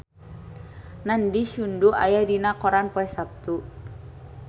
Nandish Sandhu aya dina koran poe Saptu